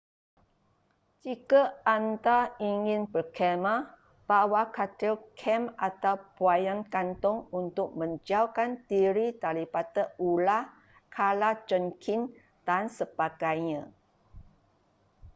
jika anda ingin berkhemah bawa katil kem atau buaian gantung untuk menjauhkan diri daripada ular kala jengking dan sebagainya